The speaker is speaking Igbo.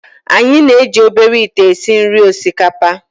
Anyị na-eji obere ite esi nri osikapa